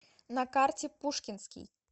на карте пушкинский